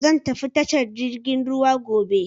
Zan tafi tashar jirgin ruwa gobe.